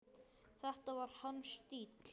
Þetta var hans stíll.